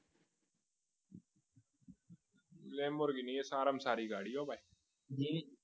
lamborghini એ સારામાં સારી ગાડી ભાઈ